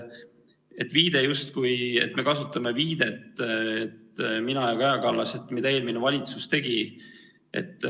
See väide, justkui me kasutaksime viidet, mina ja Kaja Kallas, sellele, mida eelmine valitsus tegi.